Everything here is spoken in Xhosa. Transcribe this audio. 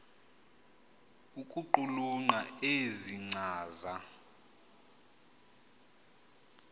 ukuqulunqa ezi nkcaza